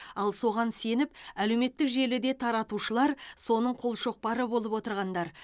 ал соған сеніп әлеуметтік желіде таратушылар соның қолшоқпары болып отырғандар